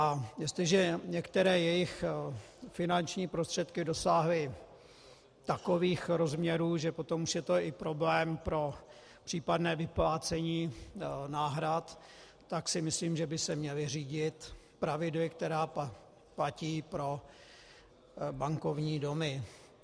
A jestliže některé jejich finanční prostředky dosáhly takových rozměrů, že potom už je to i problém pro případné vyplácení náhrad, tak si myslím, že by se měly řídit pravidly, která platí pro bankovní domy.